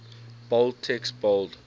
bold text bold